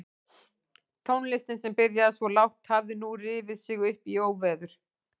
Tónlistin sem byrjaði svo lágt hafði nú rifið sig upp í óveður.